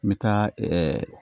N bɛ taa ɛɛ